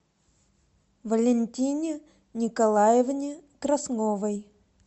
валентине николаевне красновой